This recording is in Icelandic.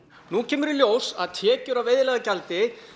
nú kemur í ljós að tekjur af veiðileyfagjaldi